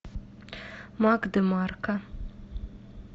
мак демарко